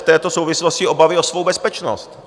v této souvislosti obavy o svou bezpečnost.